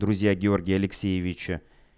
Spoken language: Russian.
друзья георгия алексеевича